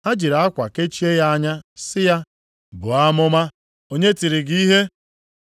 Ha jiri akwa kechie ya anya, sị ya, “Buo amụma, onye tiri gị ihe?”